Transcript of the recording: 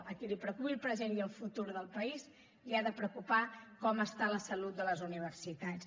a qui el preocupi el present i el futur del país l’ha de preocupar com està la salut de les universitats